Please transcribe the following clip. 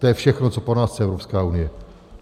To je všechno, co po nás chce Evropská unie.